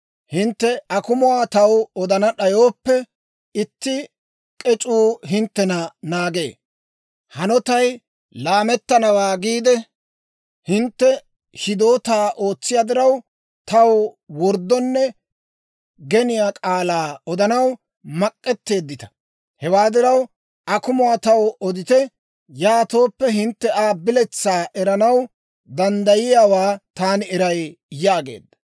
Hintte akumuwaa taw odana d'ayooppe, itti k'ec'uu hinttena naagee. Hanotay laamettanawaa giide hintte hidootaa ootsiyaa diraw, taw worddonne geniyaa k'aalaa odanaw mak'etteeddita. Hewaa diraw, akumuwaa taw odite; yaatooppe, hintte Aa biletsaa erissanaw danddayiyaawaa taani eray» yaageedda.